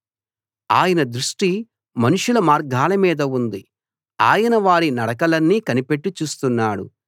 ఆయన దృష్టి మనుషుల మార్గాల మీద ఉంది ఆయన వారి నడకలన్నీ కనిపెట్టి చూస్తున్నాడు